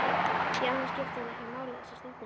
Því annað skipti hann ekki máli þessa stundina.